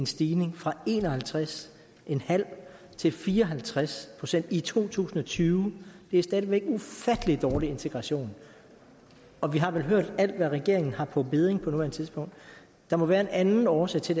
stigning fra en og halvtreds til fire og halvtreds procent i to tusind og tyve det er stadig væk ufattelig dårlig integration og vi har vel hørt alt hvad regeringen har på bedding på nuværende tidspunkt der må være en anden årsag til